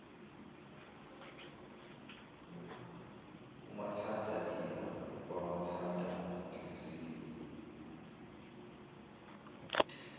umathanda iya kwamathandanhliziyo